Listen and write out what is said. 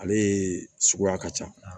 Ale ye suguya ka ca